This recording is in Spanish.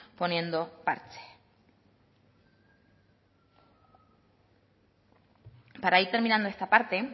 poniendo parche para ir terminando esta parte